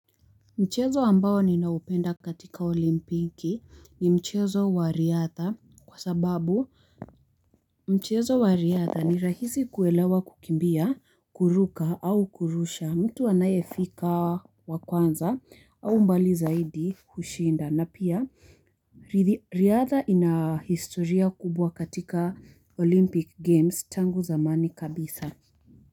Mchezo ambao ninaupenda katika olimpiki ni mchezo wa riadha kwa sababu mchezo wa riadha ni rahisi kuelewa kukimbia, kuruka au kurusha mtu anayefika wa kwanza au mbali zaidi hushinda na pia riadha ina historia kubwa katika olimpic games tangu zamani kabisa.